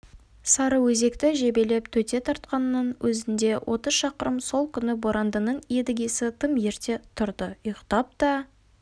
сарыөзекті жебелеп төте тартқанның өзінде отыз шақырым сол күні борандының едігесі тым ерте тұрды ұйықтап та